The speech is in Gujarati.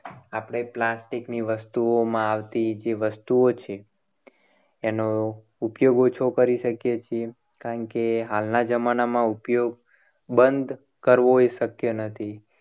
આપણે plastic ની વસ્તુઓમાં આવતી જે વસ્તુઓ છે. એનો ઉપયોગ ઓછો કરી શકીએ. છીએ કારણ કે હાલના જમાનામાં ઉપયોગ બંધ કરવો એ શક્ય નથી.